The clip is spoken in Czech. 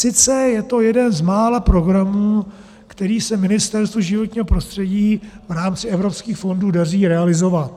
Sice je to jeden z mála programů, který se Ministerstvu životního prostředí v rámci evropských fondů daří realizovat.